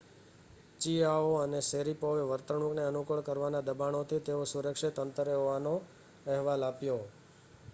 ચિઆઓ અને શૅરિપોવે વર્તણૂકને અનુકૂળ કરવાના દબાણોથી તેઓ સુરક્ષિત અંતરે હોવાનો અહેવાલ આપ્યો